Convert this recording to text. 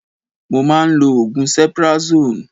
Mo máa ń lò oògùn cephrazone